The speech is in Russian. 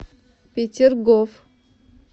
петергоф